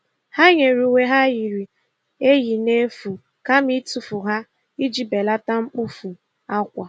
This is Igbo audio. Ha nyere uwe ha yiri eyi n'efu kama itufu ha iji belata mkpofu akwa.